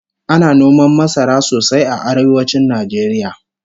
Ana noman masara sosai a arewacin Najeriya